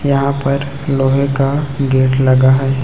यहां पर लोहे का गेट लगा है।